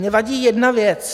Mně vadí jedna věc.